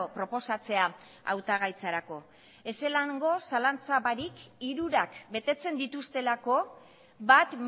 proposatzea hautagaitzarako ezelango zalantza barik hirurak betetzen dituztelako bat